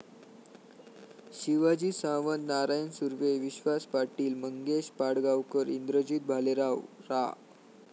शिवाजी सावंत, नारायण सुर्वे, विश्वास पाटील, मंगेश पाडगावकर, इंद्रजित भालेराव, रा.